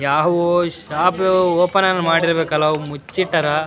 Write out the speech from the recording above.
ಯಾವು shop open ಮಾಡಿರ್ಬೇಕಲ್ಲ ಅವು ಮುಚ್ಚಿಟ್ಟರಾ.